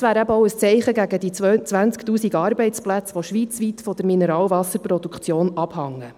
Es wäre auch ein Zeichen gegen die 20 000 Arbeitsplätze, die schweizweit von der Mineralwasserproduktion abhängen.